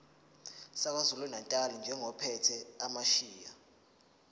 sakwazulunatali njengophethe amasheya